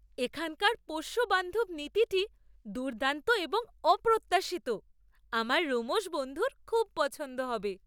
এখানকার পোষ্য বান্ধব নীতিটি দুর্দান্ত এবং অপ্রত্যাশিত। আমার রোমশ বন্ধুর খুব পছন্দ হবে!